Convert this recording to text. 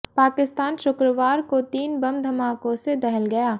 पाकिस्तान शुक्रवार को तीन बम धमाकों से दहल गया